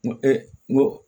N ko n ko